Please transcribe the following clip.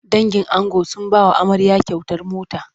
Dangin ango sun ba wa amarya kyautar mota.